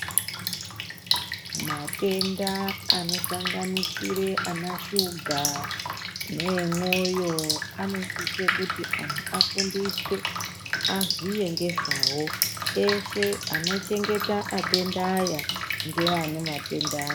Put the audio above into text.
Matenda anosanganasire ana shuga, neemwoyo anosise kuti antu afundiswe ,aziye ngezvawo eshe anochengeta atendaya, ngeane matenda.